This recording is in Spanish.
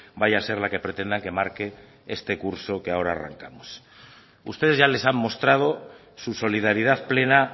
vaya a ser la que pretendan que marque este curso que ahora arrancamos ustedes ya les han mostrado su solidaridad plena